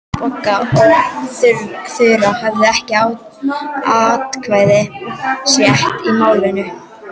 Bogga og Þura höfðu ekki atkvæðisrétt í málinu.